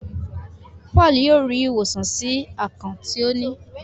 Paul yíò rí ìwòsàn sí akàn tí o ní.